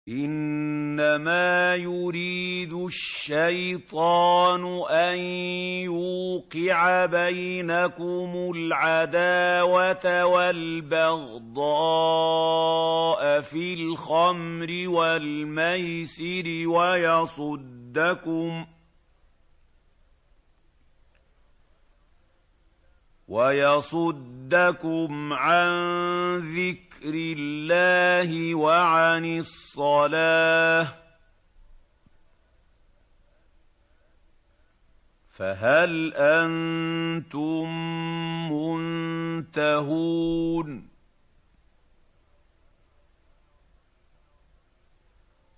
إِنَّمَا يُرِيدُ الشَّيْطَانُ أَن يُوقِعَ بَيْنَكُمُ الْعَدَاوَةَ وَالْبَغْضَاءَ فِي الْخَمْرِ وَالْمَيْسِرِ وَيَصُدَّكُمْ عَن ذِكْرِ اللَّهِ وَعَنِ الصَّلَاةِ ۖ فَهَلْ أَنتُم مُّنتَهُونَ